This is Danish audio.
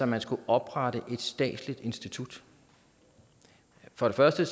man skulle oprette et statsligt institut for det første